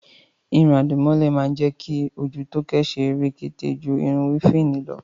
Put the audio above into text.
Irun àdìmọ́lẹ̀ má ń jẹ́ kí ojú Tóóké ó ṣe rekete ju irun wéfìnì lọ